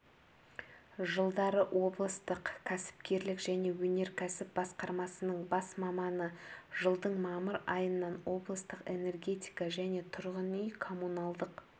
жылдары облыстық кәсіпкерлік және өнеркәсіп басқармасының бас маманы жылдың мамыр айынан облыстық энергетика және тұрғын үй-коммуналдық